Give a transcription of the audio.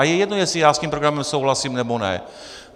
A je jedno, jestli já s tím programem souhlasím, nebo ne.